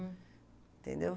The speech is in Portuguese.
Hm. Entendeu?